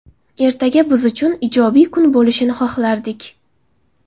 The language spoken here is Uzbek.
Ertaga biz uchun ijobiy kun bo‘lishini xohlardik.